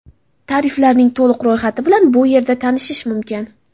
Tariflarning to‘liq ro‘yxati bilan bu yerda tanishish mumkin.